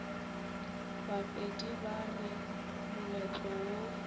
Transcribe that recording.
bapedi ba re moletlo wo